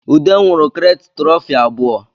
Ude nwụrụ kirete tụrọfi abụọ